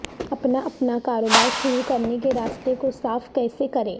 اپنا اپنا کاروبار شروع کرنے کے راستے کو صاف کیسے کریں